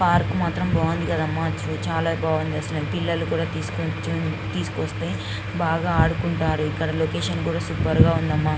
Park మాత్రం చాల బాగుంది. పిల్లలు కూడా తెసుకొని వస్తే బాగా ఆడుకుంటారు. ఇక్కడ లొకేషన్ కూడా సూపర్ గ ఉంది అమ్మ.